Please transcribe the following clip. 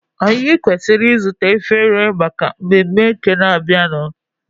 Anyị kwesịrị ịzụta efere maka mmemme nke na-abịanụ.